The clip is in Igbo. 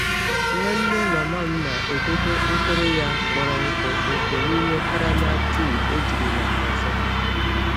Nwanne mama m na-edobe mkpụrụ ya kpọrọ nkụ nkụ n'ime karama tii ejirila ọzọ.